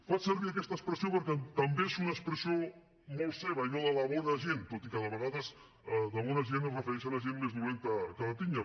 faig servir aquesta expressió perquè també és una expressió molt seva allò de la bona gent tot i que de vegades amb bona gent es refereixen a gent més dolenta que la tinya